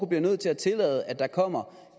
bliver nødt til at tillade at der kommer